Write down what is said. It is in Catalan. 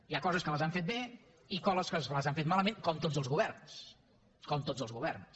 hi ha coses que les han fet bé i coses que les han fet malament com tots els governs com tots els governs